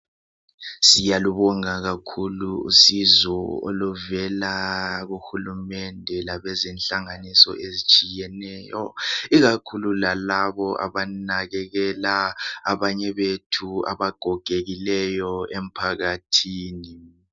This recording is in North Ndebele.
Siyalubonga kakhulu usizo oluvela kuhulumende labezenhlanganiso ezitshiyeneyo ikakhulu lalabo abanakekela abanye bethu abagogekileyo emphakathini.